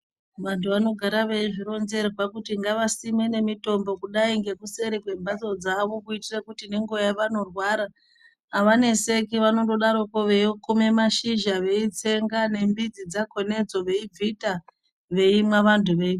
Vantu vanogara vezvironzerwa kuti ngavasimene mitombo kudai nekuseri kwe mbatso dzavo kuitire kuti nenguva yavanorwara avaneseki vanongodaroko veyikume mashizha beyitsenga nembidzi dzakona idzo beyi bvita veyinwa..vanhu veyi....